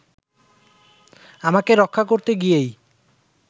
আমাকে রক্ষা করতে গিয়েই